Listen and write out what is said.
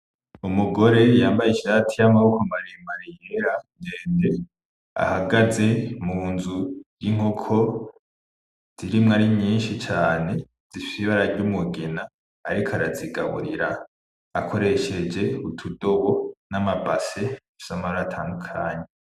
Umugore yambaye ishati y'amaboko maremare yera ndende, ahagaze mu nzu y'inkoko zirimwo ari nyinshi cane zifise ibara ry'umugina ,ariko arazigaburira akoresheje utudobo n'amabase bifise amabara atandukanye.